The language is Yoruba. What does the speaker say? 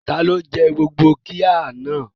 Ta ló jẹ gbogbo qirya náà?